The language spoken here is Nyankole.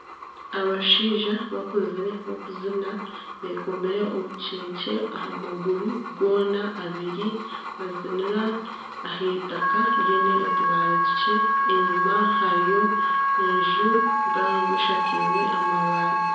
Abashaija bakuzire bakuziina bekomire obukyekye aha maguru goona abiri nibaziinira ah'eitaaka ryine otubaare tukye enyima hariyo enju mpango eshakirwe amabaati.